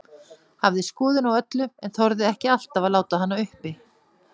Hafði skoðun á öllu, en þorði ekki alltaf að láta hana uppi.